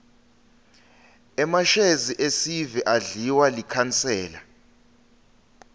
emashezi esive adliwa likhansela